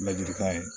Ladiri kan ye